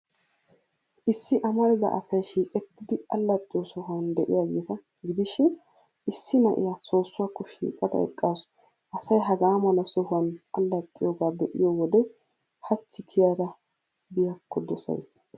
Issi amarida asay shiiqettidi allaxxiyo sohuwan de'iyaageeta gidishin, issi na'iyaa soossuwaakko shiiqada eqqaasu. Asay hagaa mala sohuwan allaxxiyoogaa be'iyo wode hachi kiyada biyaakko dosays.